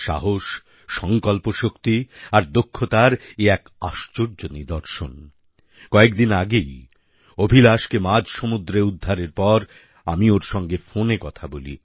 সাহস সঙ্কল্পশক্তি আর দক্ষতার এ এক আশ্চর্য নিদর্শন কয়েকদিন আগেই অভিলাষকে মাঝসমুদ্রে উদ্ধারের পর আমি ওর সঙ্গে ফোনে কথা বলি